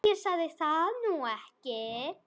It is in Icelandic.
Ég sagði það nú ekki.